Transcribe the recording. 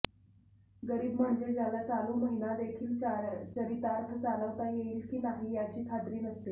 गरीब म्हणजे ज्याला चालू महिनादेखील चरितार्थ चालवता येईल की नाही याची खात्री नसते